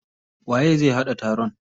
Waye zai haɗa taron?